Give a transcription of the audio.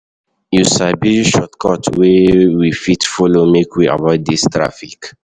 You sabi any shortcut wey we fit folo make we avoid dis traffic?